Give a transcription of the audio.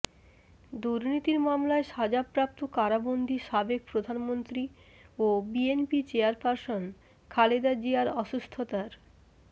দুর্নীতির মামলায় সাজাপ্রাপ্ত কারাবন্দি সাবেক প্রধানমন্ত্রী ও বিএনপি চেয়ারপারসন খালেদা জিয়ার অসুস্থতার